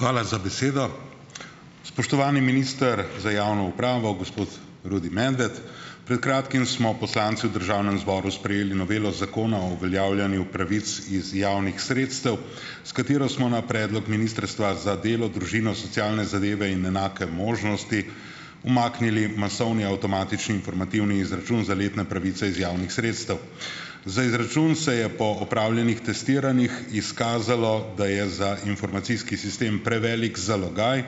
Hvala za besedo. Spoštovani minister za javno upravo, gospod Rudi Medved! Pred kratkim smo poslanci v državnem zboru sprejeli novelo zakona o uveljavljanju pravic iz javnih sredstev, s katero smo na predlog Ministrstva za delo, družino, socialne zadeve in enake možnosti umaknili masovni avtomatični informativni izračun za letne pravice iz javnih sredstev. Za izračun se je po opravljenih testiranjih izkazalo, da je za informacijski sistem prevelik zalogaj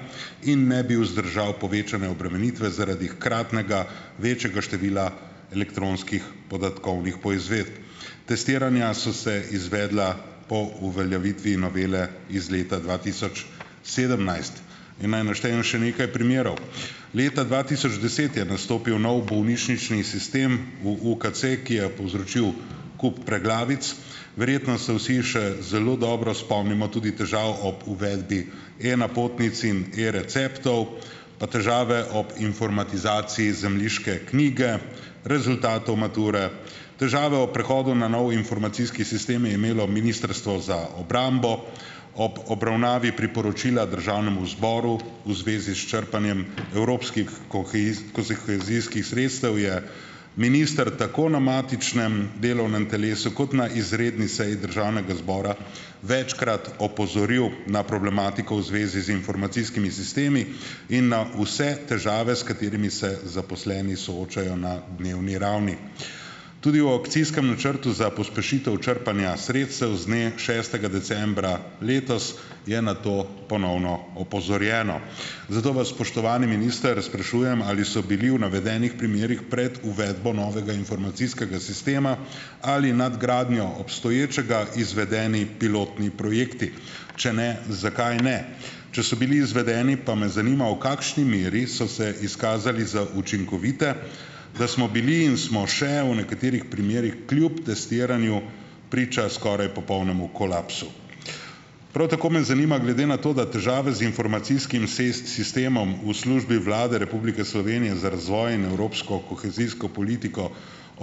in ne bi vzdržal povečane obremenitve zaradi hkratnega večjega števila elektronskih podatkovnih poizvedb. Testiranja so se izvedla po uveljavitvi novele iz leta dva tisoč sedemnajst. In naj naštejem še nekaj primerov. Leta dva tisoč deset je nastopil nov bolnišnični sistem v UKC, ki je povzročil kup preglavic. Verjetno se vsi še zelo dobro spomnimo tudi težav ob uvedbi e-napotnic in e-receptov, pa težave ob informatizaciji zemljiške knjige, rezultatov mature. Težave ob prehodu na nov informacijski sistem je imelo Ministrstvo za obrambo. Ob obravnavi priporočila državnemu zboru v zvezi s črpanjem evropskih kohezijskih sredstev je minister tako na matičnem delovnem telesu kot na izredni seji državnega zbora večkrat opozoril na problematiko v zvezi z informacijskimi sistemi in na vse težave, s katerimi se zaposleni soočajo na dnevni ravni. Tudi v akcijskem načrtu za pospešitev črpanja sredstev z dne šestega decembra letos je na to ponovno opozorjeno. Zato vas, spoštovani minister, sprašujem: Ali so bili v navedenih primerih pred uvedbo novega informacijskega sistema ali nadgradnjo obstoječega izvedeni pilotni projekti? Če ne, zakaj ne? Če so bili izvedeni, pa me zanima, v kakšni meri so se izkazali za učinkovite, da smo bili in smo še v nekaterih primerih kljub testiranju priča skoraj popolnemu kolapsu. Prav tako me zanima, glede na to, da težave z informacijskim sistemom v službi Vlade Republike Slovenije za razvoj in evropsko kohezijsko politiko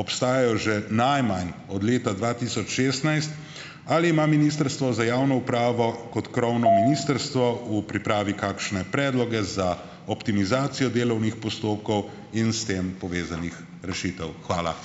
obstajajo že najmanj od leta dva tisoč šestnajst, ali ima Ministrstvo za javno upravo kot krovno ministrstvo v pripravi kakšne predloge za optimizacijo delovnih postopkov in s tem povezanih rešitev. Hvala.